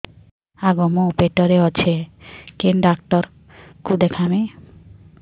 ଆଗୋ ମୁଁ ପେଟରେ ଅଛେ କେନ୍ ଡାକ୍ତର କୁ ଦେଖାମି